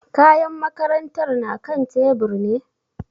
Kayan makarantar na kan tebur ne?